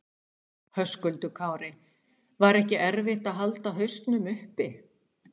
Höskuldur Kári: Var ekki erfitt að halda hausnum uppi?